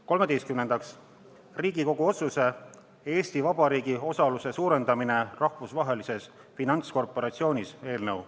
Kolmeteistkümnendaks, Riigikogu otsuse "Eesti Vabariigi osaluse suurendamine Rahvusvahelises Finantskorporatsioonis" eelnõu.